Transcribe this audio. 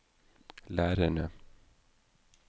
lærerne